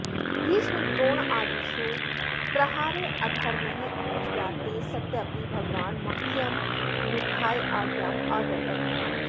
भीष्मद्रोणादिषु प्रहारः अधर्मः इति ज्ञाते सत्यपि भगवान् मह्यं युद्धाय आज्ञाम् अददत्